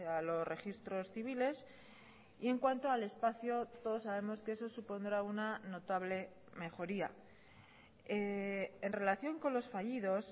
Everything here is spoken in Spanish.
a los registros civiles y en cuanto al espacio todos sabemos que eso supondrá una notable mejoría en relación con los fallidos